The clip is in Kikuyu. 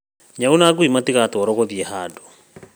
Nyau na ngui matigatwarwo gũthiĩ handũ